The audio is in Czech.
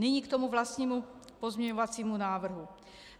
Nyní k tomu vlastnímu pozměňovacímu návrhu.